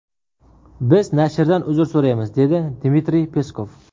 Biz nashrdan uzr so‘raymiz”, dedi Dmitriy Peskov.